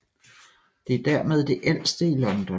Det er dermed det ældste i London